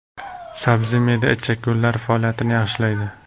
Sabzi me’da-ichak yo‘llari faoliyatini yaxshilaydi.